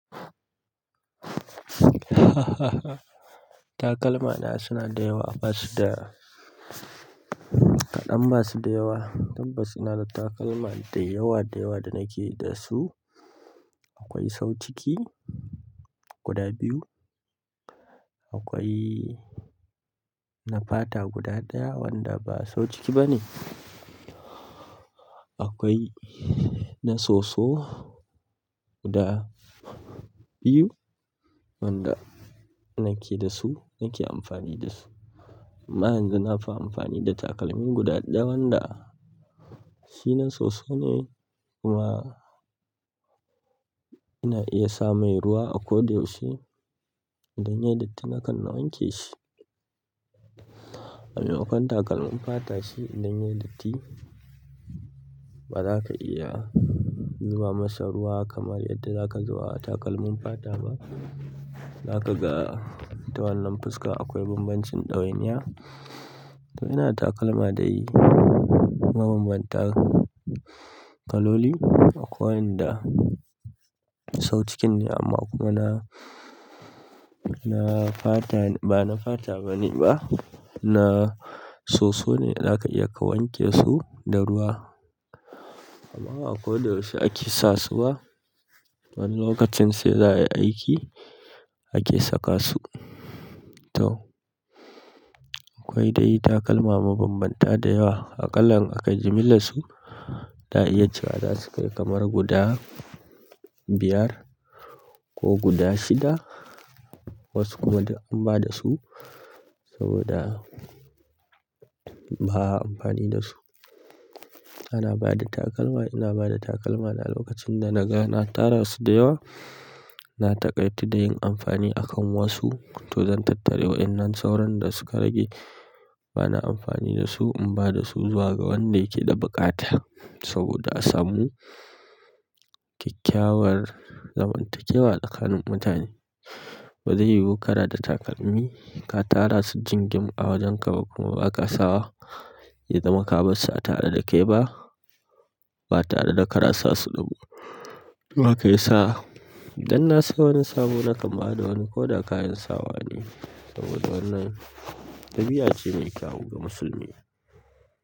Takalma na suna da yawa, ba su da kaɗan. Ba su da yawa. Tabbas ina da takalma da yawa da yawa da nake da su. Akwai sau ciki guda biyu. Akwai na fata guda ɗaya wanda ba sahu ciki bane. Akwai na soso guda biyu wanda nake da su, nake amfani da su. Amma yanzu nafi amfani da takalmi guda ɗaya wanda shi na soso ne kuma ina iya sa mai ruwa a ko da yaushe idan ya yi datti nakan wanke shi. Wani lokacin takalmin fata shi idan ya yi datti ba za ka iya zuba masa ruwa kamar yadda za ka zuba wa takalmin fata ba. Za ka ga ta wannan fuska akwai bambancin ɗawainiya. To ina da takalma dai mabambanta kaloli. Akwai wanda sahu cikin ne amma kuma ba na fata bane ba. Na soso ne za ka iya ka wanke su da ruwa amma ba koda yaushe ake sa su ba, wani lokacin sai za ayi aiki ake saka su. To akwai dai takalma mabambanta da yawa. Aƙalla in akai jimillar su za'a iya ciwa za su kai kamar guda biyar ko guda shida. Wasu kuma duk an bada su saboda ba a amfani da su. Ana bada takalma, ina ba da takalma na lokacin da na ga na tara su da yawa. Na taƙaitu da yin amfani a kan wasu to zan tattare wa'innan sauran da suka rage. Ba na amfani da su, in bada su zuwa ga wanda yake da buƙata saboda a samu kyakkyawar zamantakewa tsakanin mutane ba zai yiwu kana da takalmi ka tara su jingim a wajen ka kuma ba ka sa wa. Ya zama ka bar su a tare da kai ba, ba tare da kana sa su ba. Baka sawa idan na sayi wani sabo nakan bada wani koda kayan sawa ne saboda wannan ɗabi'a ce me kyawu ga musulmi.